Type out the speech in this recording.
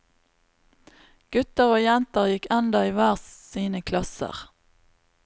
Gutter og jenter gikk enda i hver sine klasser.